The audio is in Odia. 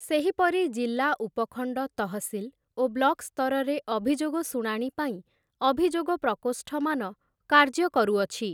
ସେହିପରି ଜିଲ୍ଲା ଉପଖଣ୍ଡ ତହସିଲ୍ ଓ ବ୍ଲକ୍ ସ୍ତରରେ ଅଭିଯୋଗ ଶୁଣାଣି ପାଇଁ ଅଭିଯୋଗ ପ୍ରକୋଷ୍ଠମାନ କାର୍ଯ୍ୟ କରୁଅଛି ।